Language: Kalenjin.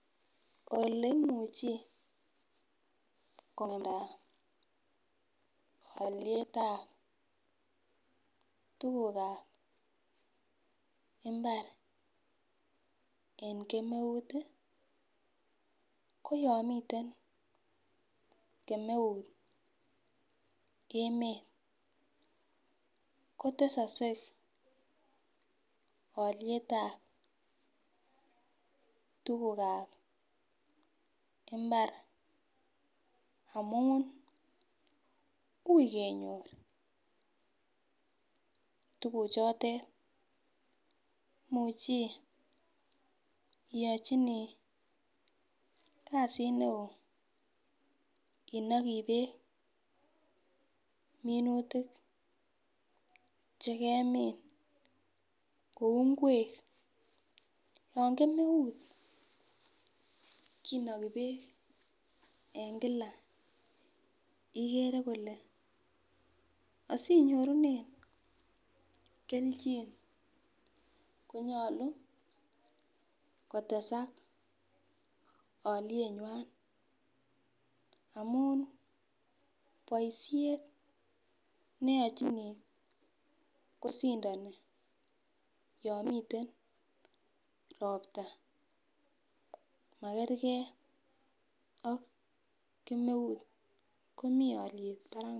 Oleimuchi kong'emnda alyetab tugukab mbar en kemeut ii koyon miten kemeut emet kotesokse alyetab tugukab mbar amun ui kenyor tuguchotet imuchi iyochini kasit ne oo inokii beek minutik chekemin ,kou ngwek yon kemeut kinoki beek en kila ikere kole asinyorunen kelechin konyolu kotesak alyenywan ,amun boisiet neyochini kosindoni yon miten ropta makerge ak kemeut komi alyet barak mising.